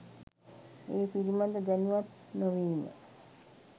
ඒ පිළිබඳ දැනුවත් නො වීම